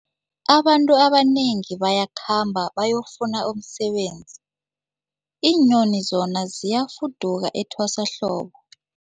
Abantu abanengi bayakhamba bayokufuna umsebenzi, iinyoni zona ziyafuduka etwasahlobo.